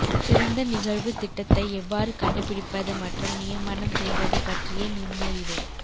சிறந்த நிகழ்வு திட்டத்தை எவ்வாறு கண்டுபிடிப்பது மற்றும் நியமனம் செய்வது பற்றிய நுண்ணறிவு